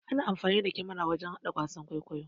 Ana amfani da kamara wajan hada wasan ƙwaikwayo.